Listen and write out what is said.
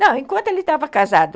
Não, enquanto ele estava casado,